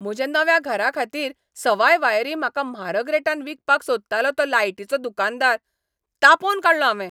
म्हज्या नव्या घराखातीर सवाय वायरी म्हाका म्हारग रेटान विकपाक सोदतालो तो लायटीचो दुकानकार. तापोवन काडलो हावें.